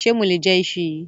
Ṣe mo lè je íṣu yìí?